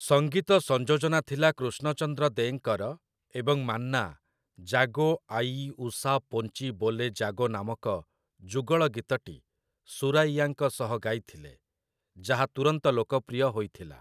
ସଙ୍ଗୀତ ସଂଯୋଜନା ଥିଲା କୃଷ୍ଣ ଚନ୍ଦ୍ର ଦେ'ଙ୍କର, ଏବଂ ମାନ୍ନା 'ଜାଗୋ ଆୟି ଉଷା ପୋଞ୍ଚି ବୋଲେ ଜାଗୋ' ନାମକ ଯୁଗଳ ଗୀତଟି ସୁରାଇୟାଙ୍କ ସହ ଗାଇଥିଲେ, ଯାହା ତୁରନ୍ତ ଲୋକପ୍ରିୟ ହୋଇଥିଲା ।